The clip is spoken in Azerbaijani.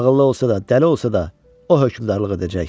Ağıllı olsa da, dəli olsa da, o hökmranlıq edəcək.